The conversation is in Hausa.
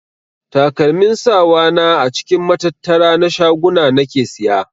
Takalmin sawa na a cikin matattara na shaguna nake siya.